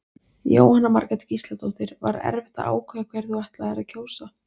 Jóhanna Margrét Gísladóttir: Var erfitt að ákveða hverja þú ætlaðir að kjósa?